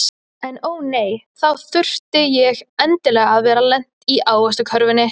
En ó nei, þá þurfti ég endilega að vera lent í ávaxtakörfunni.